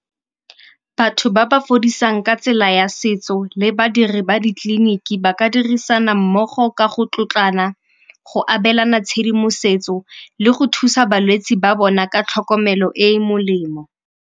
Batho ba ba fodisang ka tsela ya setso le badiri ba ditleliniki ba ka dirisana mmogo ka go tlotlana, go abelana tshedimosetso le go thusa balwetsi ba bona ka tlhokomelo e e molemo.